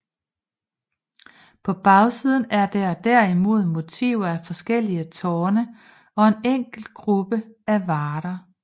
På bagsiden er der derimod motiver af forskellige tårne og en enkelt gruppe af varder